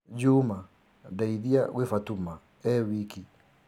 Juma, ndeithia gwĩ fatuma e wiki.